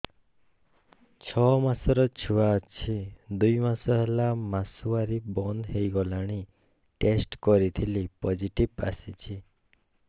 ଛଅ ମାସର ଛୁଆ ଅଛି ଦୁଇ ମାସ ହେଲା ମାସୁଆରି ବନ୍ଦ ହେଇଗଲାଣି ଟେଷ୍ଟ କରିଥିଲି ପୋଜିଟିଭ ଆସିଛି